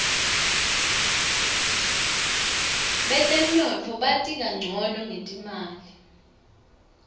betemnotfo bati kancono ngetimali